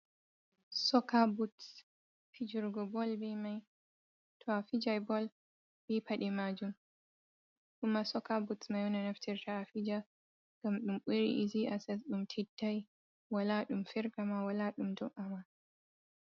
Soka buts. fijurgo Bol ɓe mai. To afijai Bol ɓe paɗe majum. Kuma soka buts mai on naftirta afija. Ngam ɗum ɓuri izi asas, ɗum teɗɗai. Wala ɗum firgama, wala ɗum ɗoɗ’ama.